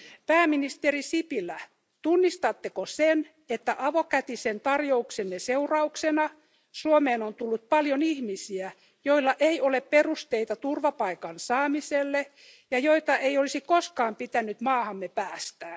Pääministeri Sipilä, tunnistatteko sen, että avokätisen tarjouksenne seurauksena Suomeen on tullut paljon ihmisiä, joilla ei ole perusteita turvapaikan saamiselle, ja joita ei olisi koskaan pitänyt maahamme päästää.